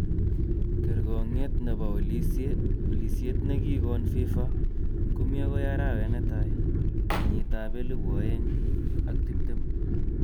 Kergoong'et nebo olisiet ne kikon FIFA komi agoi arawet netai kenyitab elebu oeng ak tiptem